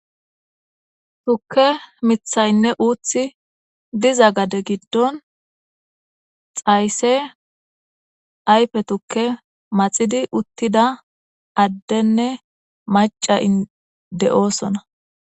tukke mithaynne uuthi diza gade giddon xayse ayfe tukke maxidi uttida addenne maca ide7oosona